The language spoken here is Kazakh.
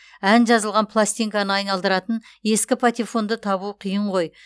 ән жазылған пластинканы айналдыратын ескі патефонды табу қиын ғой